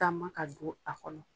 Taama ka don a kɔnɔ.